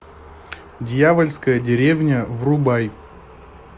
дьявольская деревня врубай